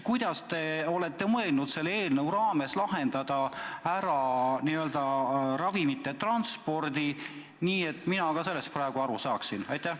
Kuidas te olete mõelnud selle eelnõu kohaselt ravimite transpordi lahendada nii, et mina ka sellest aru saaksin?